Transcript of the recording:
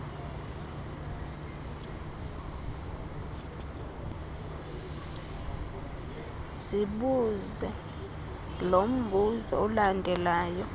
zibuze lombuzo ulandelayo